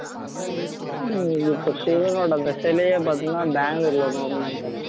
ஆஹ் இப்போ சிவனோட அந்த சிலையை பாத்தினா பெங்களூர்ல ஒண்ணு open பண்ணிட்டாங்க